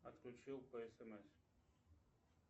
отключил по смс